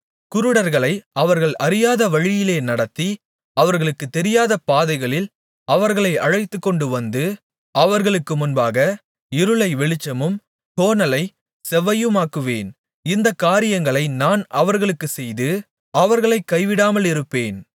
குருடர்களை அவர்கள் அறியாத வழியிலே நடத்தி அவர்களுக்குத் தெரியாத பாதைகளில் அவர்களை அழைத்துக்கொண்டுவந்து அவர்களுக்கு முன்பாக இருளை வெளிச்சமும் கோணலைச் செவ்வையுமாக்குவேன் இந்தக் காரியங்களை நான் அவர்களுக்குச்செய்து அவர்களைக் கைவிடாமலிருப்பேன்